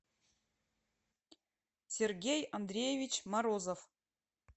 сергей андреевич морозов